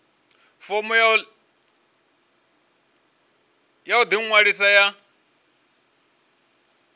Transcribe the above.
fomo ya u ḓiṅwalisa ya